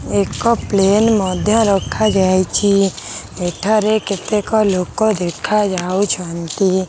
ଏକ ପ୍ଲେନ୍ ମଧ୍ୟ ରଖାଯାଇଛି ଏଠାରେ କେତେକ ଲୋକ ଦେଖା ଯାଉଛନ୍ତି।